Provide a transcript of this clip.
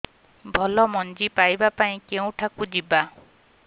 ଭଲ ମଞ୍ଜି ପାଇବା ପାଇଁ କେଉଁଠାକୁ ଯିବା